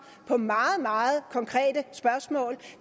på meget meget konkrete spørgsmål